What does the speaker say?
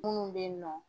Munnu be yen nɔ